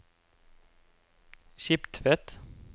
Skiptvet